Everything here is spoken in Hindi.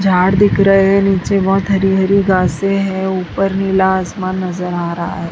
झाड़ दिख रहा है नीचे बहुत हरी हरी घासें हैं ऊपर नीला आसमान नजर आ रहा है।